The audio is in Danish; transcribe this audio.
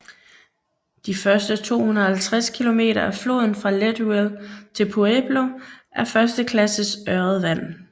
De første 250 km af floden fra Leadville til Pueblo er første klasses ørredvand